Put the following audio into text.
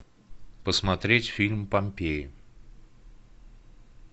посмотреть фильм помпеи